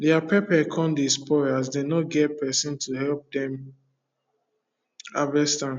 dia pepper come dey spoil as them no get person to help them harvest am